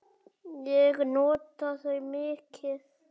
Ég nota þau mikið.